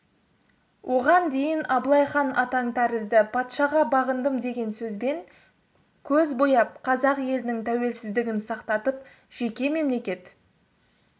оған дейін абылай хан атаң тәрізді патшаға бағындым деген сөзбен көз бояп қазақ елінің тәуелсіздігін сақтатып жеке мемлекет